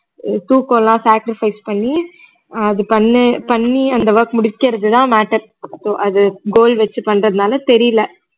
தூக்கம்லாம் sacrifice பண்ணி அஹ் அது பண்ணி பண்ணி அந்த work முடிகிறது தான் matter அது goal வெச்சு பண்றதுனால தெரியல